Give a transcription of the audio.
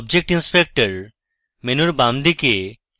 object inspector মেনুর বামদিকে